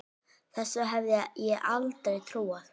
Þessu hefði ég aldrei trúað.